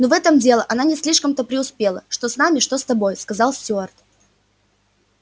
ну в этом деле она не слишком-то преуспела что с нами что с тобой сказал стюарт